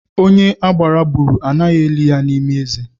Onye agbara gburu, anaghị eli ya n'ime ezi